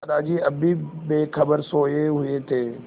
दादाजी अब भी बेखबर सोये हुए थे